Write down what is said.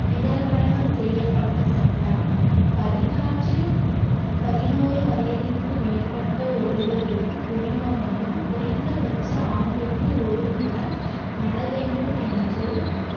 பிறகடனம் செய்யப்பட்ட சட்டம் பதினாற்றில்~ பதினோரு வயதுக்கு மேற்பட்ட ஒருவருக்கும் குடிமகனும் குறைந்தபட்ச ஆண்டுக்கு ஒரு மரம் நட வேண்டும் என்று